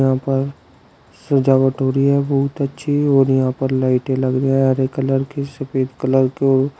यहां पर सजावट हो रही है बहुत अच्छी और यहां पर लाइटें लगी हैं हरे कलर की सफेद कलर को--